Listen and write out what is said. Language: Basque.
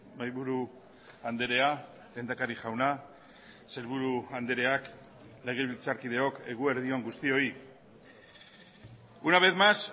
mahaiburu andrea lehendakari jauna sailburu andreak legebiltzarkideok eguerdi on guztioi una vez más